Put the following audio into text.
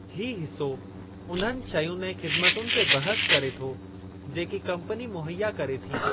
ही हिसो उन्हनि शयुनि ऐं ख़िदमतुनि ते बहसु करे थो जेकी कम्पनी मुहैया करे थी।